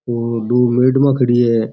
और दो मेडमा खड़ी है।